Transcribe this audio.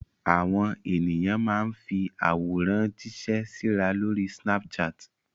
Àwọn ènìyàn máa ń fi àwọn àwòrán jíṣẹ́ síra lórí Snapchat.